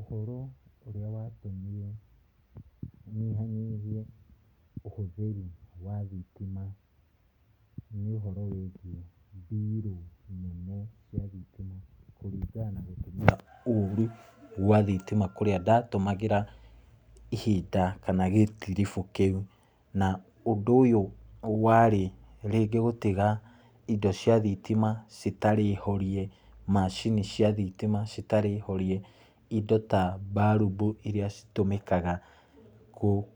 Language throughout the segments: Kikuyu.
Ũhoro ũrĩa watũmire nyihanyihie ũhũthĩri wa thitima nĩ ũhoro wĩgiĩ mbiru nene cia thitima kũringana na gũtũmĩra ũru gwa thitima kũrĩa ndatũmagĩra ihinda kana gĩtiribũ kĩu, na ũndũ ũyũ warĩ rĩngĩ gũtiga indo cia thitima citarĩ horie, macini cia thitima citarĩ horie, indo ta mbarubu iria citũmĩkaga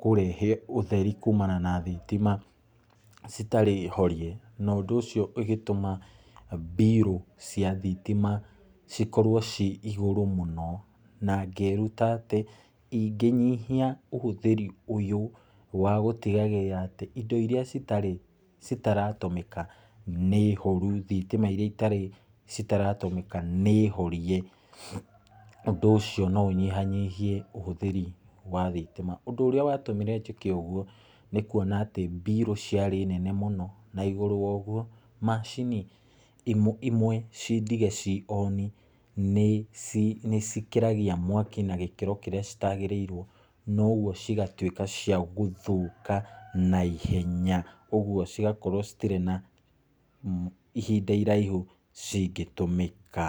kũrehe ũtheri kumana na thitima citarĩ horie, na ũndũ ũcio ũgĩtũma mbiru cia thitima cikorwo ciĩ igũrũ mũno, na ngĩruta atĩ ingĩnyihia ũhũthĩri ũyũ wa gũtigagĩrĩra atĩ indo iria citarĩ citaratũmĩka nĩ horu, thitima iria itarĩ itaratũmĩka nĩ horie, ũndũ ũcio no ũnyihanyihie ũhũthĩri wa thitima, ũndũ ũrĩa watũmire njĩke ũguo nĩ kuona atĩ mbiru ciarĩ nene mũno na igũrũ wa ũguo, macini imwe imwe cindige cioni nĩci nĩcikĩragia mwaki na gĩkĩro kĩrĩa citagĩrĩirwo na ũgũo cigatuĩka cia gũthũka naihenya, ũgũo cigakorwo citirĩ na mm ihinda iraihu cingĩtũmĩka.